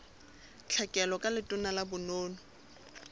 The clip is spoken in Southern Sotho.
tlhekelo ka letona la bonono